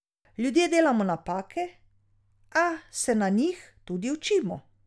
Ljudje delamo napake, a se na njih tudi učimo.